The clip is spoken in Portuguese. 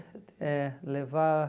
É, levar...